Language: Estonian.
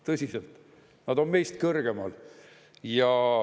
Tõsiselt, nad on meist kõrgemal.